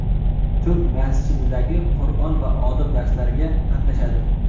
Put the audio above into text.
Turk masjididagi Qur’on va odob darslariga qatnashadi.